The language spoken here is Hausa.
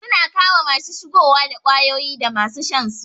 Suna kama masu shigowa da kwayoyi dama su shansu